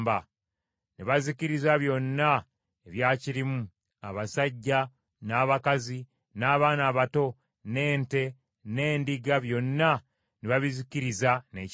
Ne bazikiriza byonna ebyakirimu, abasajja n’abakazi, n’abaana abato, n’ente, n’endiga, n’endogoyi ne byonna ne babizikiriza n’ekitala.